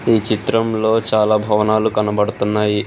ఈ చిత్రంలో చాలా భవనాలు కనబడుతున్నాయి.